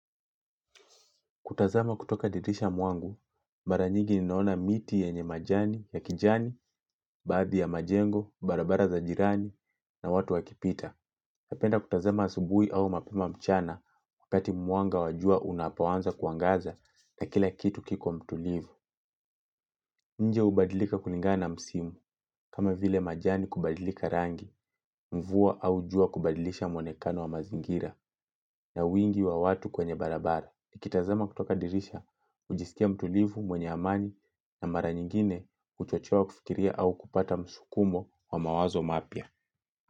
Kutazama kutoka dirisha mwangu, mara nyingi ninaona miti yenye majani, ya kijani, baadhi ya majengo, barabara za jirani, na watu wakipita. Napenda kutazama asubuhi au mapema mchana, wakati mwanga wa jua unapoanza kuangaza na kila kitu kiko mtulivu. Nje hubadilika kulingana msimu, kama vile majani kubadilika rangi, mvua au jua kubadilisha muonekano wa mazingira, na wingi wa watu kwenye barabara. Nikitazama kutoka dirisha, hujistia mtulivu, mwenye amani na mara nyingine huchochoa kufikiria au kupata msukumo wa mawazo mapya.